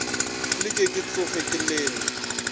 leke ke tloge ke leme